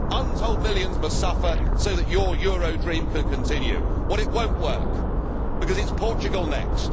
poor. Untold millions must suffer so that your euro dream can continue. Well it will not work, because it is Portugal